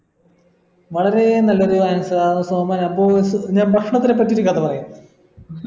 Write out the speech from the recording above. വളരെ നല്ലൊര് answer ആണ് സോമൻ അപ്പോ ഞാൻ ഭക്ഷണത്തിനെ പറ്റി ഒരു കഥ പറയാ